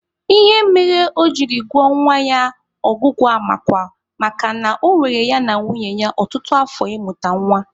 Ihe mere o jiri gụọ nwa ya Ọgụguamakwa makana ọ were ya na nwunye ya ọtụtụ afọ ịmụta nwa.